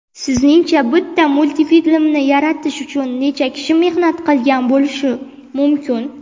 Sizningcha bitta multfilmni yaratish uchun necha kishi mehnat qilgan bo‘lishi mumkin.